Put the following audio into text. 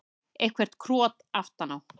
Eitthvert krot aftan á.